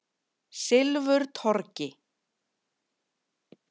Silfurtorgi